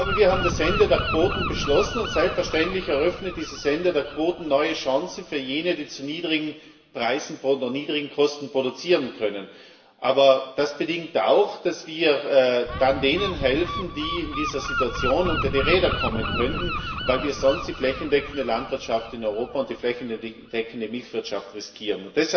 Wir haben das Ende der Quoten beschlossen, und selbstverständlich eröffnet das Ende der Quoten neue Chancen für jene, die zu niedrigen Preisen oder niedrigen Kosten produzieren können. Aber das bedingt auch, dass wir dann denen helfen, die in dieser Situation unter die Räder kommen könnten, weil wir sonst die flächendeckende Landwirtschaft in Europa und die flächendeckende Milchwirtschaft riskieren.